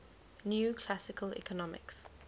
new classical economics